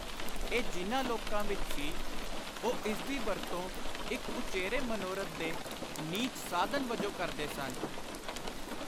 ਇਹ ਜਿਨ੍ਹਾਂ ਲੋਕਾਂ ਵਿਚ ਸੀ, ਉਹ ਇਸਦੀ ਵਰਤੋਂ ਇਕ ਉਚੇਰੇ ਮਨੋਰਥ ਦੇ ਨੀਚ ਸਾਧਨ ਵਜੋਂ ਕਰਦੇ ਸਨ।